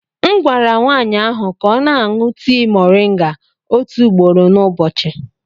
M gwara nwaanyị ahụ ka ọ na-aṅụ tii moringa otu ugboro n'ụbọchị.